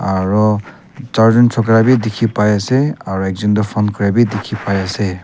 aru char jun chokra bhi dikhi pai ase aru ekjon tu phone kura bhi dikhi pai ase.